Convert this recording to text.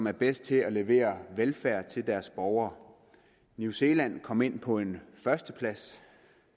er bedst til at levere velfærd til deres borgere new zealand kom ind på en førsteplads